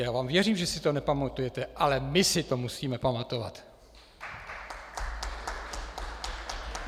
Já vám věřím, že si to nepamatujete, ale my si to musíme pamatovat!